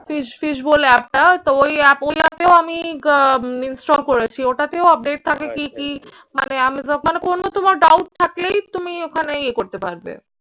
fish fish bowl app টা তো ওই app ওই app এও আমি আহ install করেছি। ওটাতেও update থাকে কি কি মানে আমি মানে কোনো তোমার doubt থাকলেই তুমি ওখানে ইয়ে করতে পারবে।